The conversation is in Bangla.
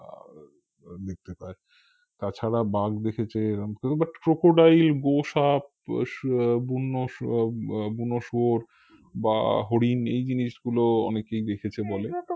দেখতে পায় তাছাড়া বাঘ দেখেছে এরাম কেউ but crocodile গোসাপ আহ শু বন্য শু উম বুনো শুয়োর বা হরিণ এই জিনিসগুলো অনেকেই দেখেছে বলে